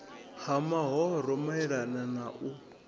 ha mahoro maelana na u